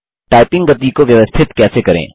typing गति को व्यवस्थित कैसे करें